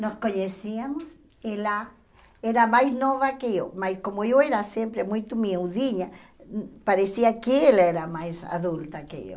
Nós conhecíamos, ela era mais nova que eu, mas como eu era sempre muito miudinha, parecia que ela era mais adulta que eu.